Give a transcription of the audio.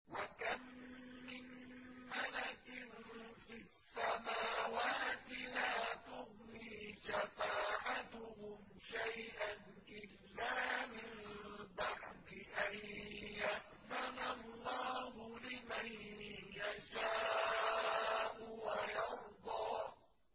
۞ وَكَم مِّن مَّلَكٍ فِي السَّمَاوَاتِ لَا تُغْنِي شَفَاعَتُهُمْ شَيْئًا إِلَّا مِن بَعْدِ أَن يَأْذَنَ اللَّهُ لِمَن يَشَاءُ وَيَرْضَىٰ